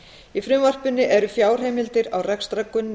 í frumvarpinu eru fjárheimildir á rekstrargrunni